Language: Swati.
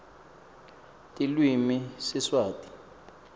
tilwimi siswati